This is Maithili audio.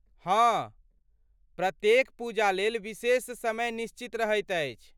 हँ, प्रत्येक पूजालेल विशेष समय निश्चित रहैत अछि।